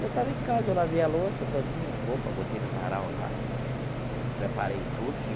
Eu estava em casa, eu lavei a louça todinha, a roupa, botei no varal lá e preparei tudo.